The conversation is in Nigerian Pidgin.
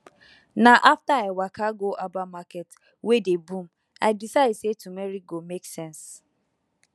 na after i waka go herbal market wey dey boom i decide say turmeric go make sense